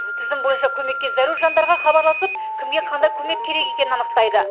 тізім бойынша көмекке зәру жандарға хабарласып кімге қандай көмек керек екенін анықтайды